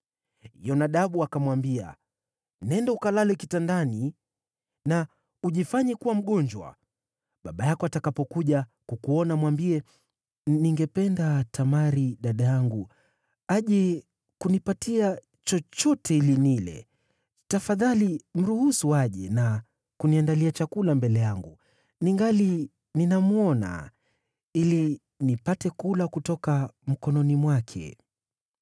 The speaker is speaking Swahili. Yonadabu akamwambia, “Nenda ukalale kitandani na ujifanye kuwa mgonjwa. Baba yako atakapokuja kukuona mwambie, ‘Ningependa Tamari dada yangu aje kunipatia chochote ili nile. Tafadhali mruhusu aje na kuniandalia chakula mbele yangu ningali ninamwona, ili nipate kula kutoka mkononi mwake.’ ”